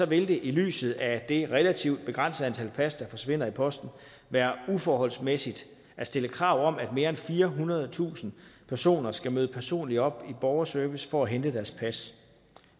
vil det i lyset af det relativt begrænsede antal pas der forsvinder i posten være uforholdsmæssigt at stille krav om at mere end firehundredetusind personer skal møde personligt op i borgerservice for at hente deres pas